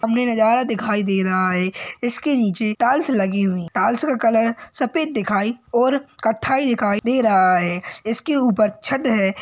हमें नज़ारा दिखाई दे रहा है इसके नीचे टाइल्स लगी हुई है। टाइल्स का कलर सफ़ेद दिखाई और कत्थाई दिखाई दे रहा है इसके ऊपर छत है।